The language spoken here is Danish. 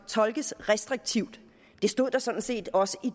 tolkes restriktivt det stod der sådan set også i